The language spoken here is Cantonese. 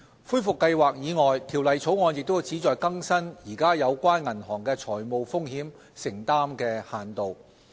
恢復計劃以外，《條例草案》亦旨在更新現時有關銀行的財務風險承擔限度。